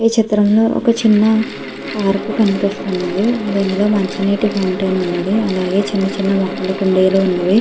ఈ చిత్రంలో ఒక చిన్న పార్క్ కనిపిస్తున్నది . దీనిలో మంచి నీరు ఫౌంటెన్ ఉన్నది. అలాగే చిన్న చిన్న మొక్కల కుండీలు ఉన్నవి.